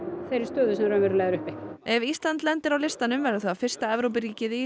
þeirri stöðu sem raunverulega er uppi ef Ísland lendir á listanum verður það fyrsta Evrópuríkið í